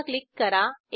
पुन्हा क्लिक करा